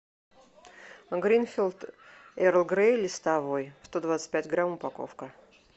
гринфилд эрл грей листовой сто двадцать пять грамм упаковка